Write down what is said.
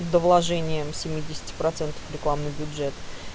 до вложением семидесяти процентов в рекламный бюджет